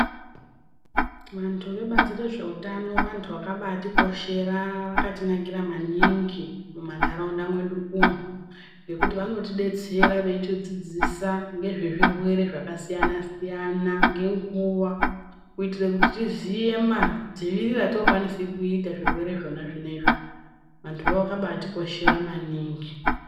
Vantu vebazi rezveutano vantu vakabatikoshera vakatinakira maningi mumantaraunda mwedu umo. Nekuti vanotibetsera veiti dzidzisa ngezvezvirwere zvakasiyana-siyana ngenguva. Kuitire kuti tiziye madzivirire atinokwanisa kuita zvirwere zvona zvinoizvi antuvo vakabatikoshera maningi.